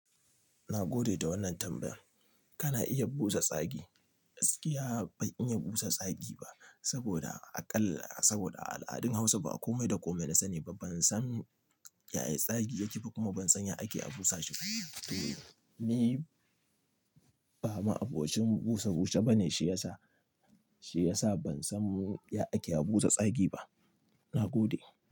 Na gode da wannan tambayar. Kana iya busa tsagi. Gaskiya ban iya busa tsagi ba saboda aƙalla saboda a al'adun Hausa ba a komai da komai na sani ba. Ban san ya ya tsagi ya ke ba kuma ban san ya ake a busa shi ba. To, ni ba ma'abocin busa-bushe ba ne, shi ya sa, shi ya sa ban san ya ake a busa tsagi ba. Na gode.